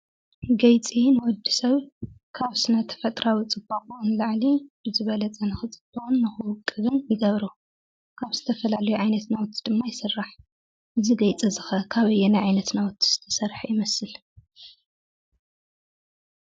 ገይፂ ንወዲ ሰብ ካብ ስነ-ተፈጥራዊ ብጣዕሚ ፅባቅኡ ንክፅብቅን ይገብሮ ። ካብ ዝተፈላዩ ዓይነታት ናውቲ ድማ ይስራሕ። እዚ ገይፂ እዙይ ከ ካብ ኣየናይ እዙ ከ ካበየና ናውቲ ዝተሰረሐ ይመስል?